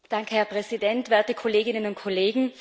Herr Präsident, werte Kolleginnen und Kollegen!